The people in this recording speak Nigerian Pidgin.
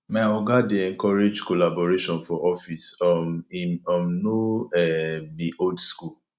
my oga dey encourage collaboration for office um im um no um be old skool